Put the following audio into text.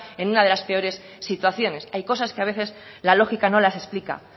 en una de las peores situaciones hay cosas que a veces la lógica no las explica